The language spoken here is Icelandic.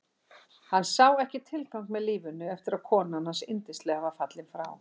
Hann sá ekki tilgang með lífinu eftir að konan hans yndislega var fallin frá.